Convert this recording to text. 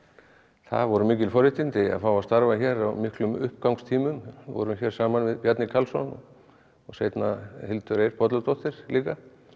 það voru mikil forréttindi að fá að starfa hér á miklum uppgangstímum vorum hér saman við Bjarni Karlsson og seinna Hildur Eir Bolladóttir líka